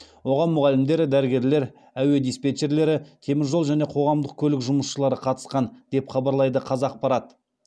оған мұғалімдер дәрігерлер әуе диспетчерлері теміржол және қоғамдық көлік жұмысшылары қатысқан деп хабарлайды қазақпарат